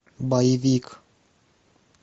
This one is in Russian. боевик